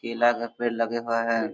केला का पेड़ लगे हुआ है।